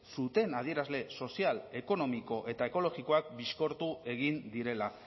zuten adierazle sozial ekonomiko eta ekologikoak bizkortu egin direla